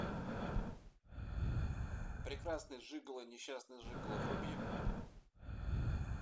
прекрасный жиголо несчастный жиголо вруби